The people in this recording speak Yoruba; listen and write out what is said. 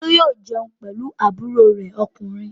Olú yóò jẹun pẹ̀lú àbúrò rẹ̀ ọkùnrin.